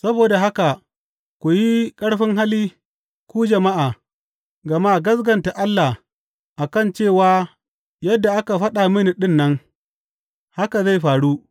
Saboda haka ku yi ƙarfin hali, ku jama’a, gama gaskata Allah a kan cewa yadda aka faɗa mini ɗin nan, haka zai faru.